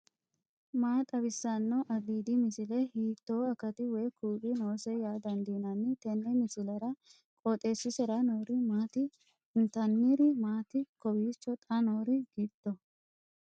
maa xawissanno aliidi misile ? hiitto akati woy kuuli noose yaa dandiinanni tenne misilera? qooxeessisera noori maati ? intanniri maati kowiicho xa noori giddo